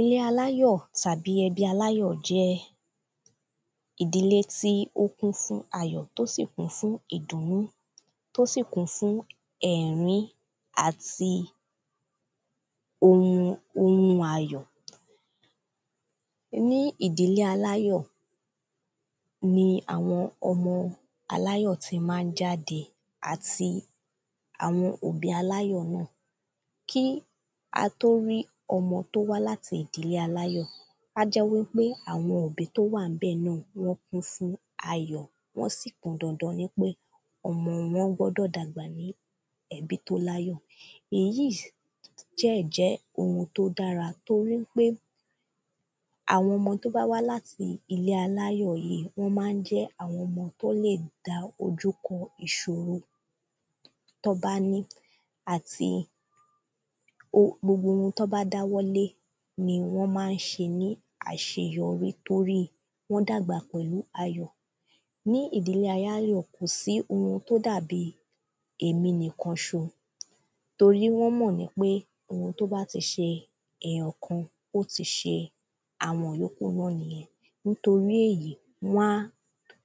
Ilé aláyọ̀ tàbí ẹbí aláyọ̀ jẹ́ ìdílé tí ó kún fún ayọ̀ tí ó sì kún fún ìdùnú tí ó sì kún fún ẹ̀rín àti òun ayọ̀ Ní ìdílé aláyọ̀ ni àwọn ọmọ aláyọ̀ ti ma ń jáde àti àwọn òbí aláyọ̀ náà Kí a tó rí ọmọ tí ó wá láti ìdílé aláyọ̀ á jẹ́ wípé àwọn òbí tí ó wà níbẹ̀ náà wọ́n kún fún ayọ̀ wọ́n sì pọn dandan nípé ọmọ wọn gbọ́dọ̀ dàgbà ní ẹbí tí ó láyọ̀ Èyí dẹ̀ jẹ́ oun tí ó dára torí pé àwọn ọmọ tí ó wá láti ìdílé aláyọ̀ yìí wọ́n ma ń jẹ́ àwọn ọmọ tí wọ́n lè dá ojú kọ ìṣòro tí wọ́n bá ni àti gbogbo oun tí wọ́n bá dá ọwọ́ lé ni wọ́n ma ń ṣe ní àṣeyọrí torí wọ́n dàgbà pẹ̀lú ayọ̀ Ní ìdílé aláyọ̀ kò sí oun tí ó dàbí èmi nìkan ṣo torí wọ́n mọ̀ wípé oun tí ó bá ti ṣe èyàn kan ó ti ṣe àwọn ìyókù náà nìyẹn Nítorí èyí wọ́n á